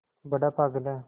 बड़ा पागल है